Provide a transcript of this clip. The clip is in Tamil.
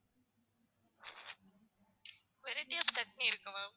variety of சட்னி இருக்கு ma'am